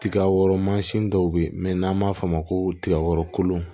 Tigaw mansin dɔw bɛ yen mɛ n'an b'a f'a ma ko tiga kolon